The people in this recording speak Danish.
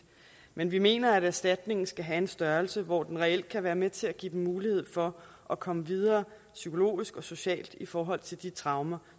men vi mener at erstatningen skal have en størrelse hvor den reelt kan være med til at give dem mulighed for at komme videre psykologisk og socialt i forhold til de traumer